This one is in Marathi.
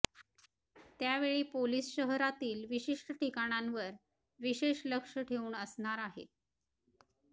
त्यावेळी पोलीस शहरातील विशिष्ट ठिकाणांवर विशेष लक्ष ठेवून असणार आहेत